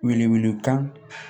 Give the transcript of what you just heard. Wele wele kan